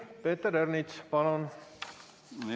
Peeter Ernits, palun!